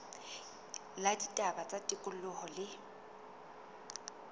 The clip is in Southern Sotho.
la ditaba tsa tikoloho le